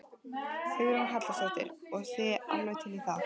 Hugrún Halldórsdóttir: Og þið alveg til í það?